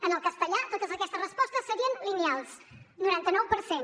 en el castellà totes aquestes respostes serien lineals noranta nou per cent